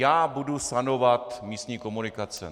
Já budu sanovat místní komunikace!